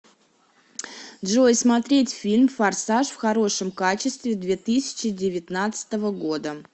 джой смотреть фильм форсаж в хорошем качестве две тысячи девятнадцатого года